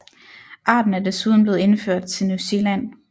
Arten er desuden blevet indført til New Zealand